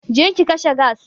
Je ki kashe gas!